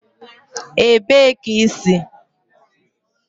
Ebee ka i si?